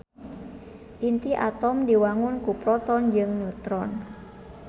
Inti atom diwangun ku proton jeung neutron.